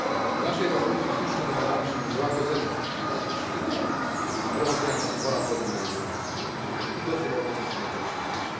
W naszej rezolucji słusznie domagamy się złagodzenia wszystkich wyroków śmierci, wprowadzenia moratorium na egzekucje i docelowo zniesienia kary śmierci.